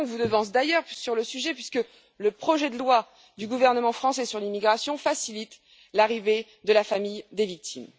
Macron vous devance d'ailleurs sur le sujet, puisque le projet de loi du gouvernement français sur l'immigration facilite l'arrivée de la famille des victimes.